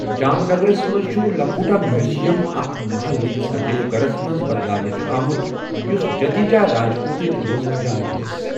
جامنگرس منٛز چھُ لکھوٹا میوزیم اکھ محل یُس عجٲئب گرس منٛز بَدلاونہٕ چھُ آمُت یُس جدیجا راجپوتٕچ روزَن جاۓ ٲس۔